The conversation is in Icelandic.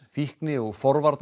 fíkni og